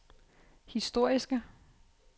historiske